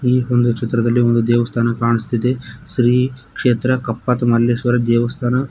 ಈ ಒಂದು ಚಿತ್ರದಲ್ಲಿ ಒಂದು ದೇವಸ್ಥಾನ ಕಾಣಿಸುತ್ತಿದೆ ಶ್ರೀ ಕ್ಷೇತ್ರ ಕಪ್ಪತ ಮಲ್ಲೇಶ್ವರ ದೇವಸ್ಥಾನ.